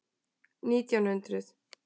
Nítján hundruð